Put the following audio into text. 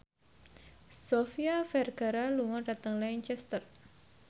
Sofia Vergara lunga dhateng Lancaster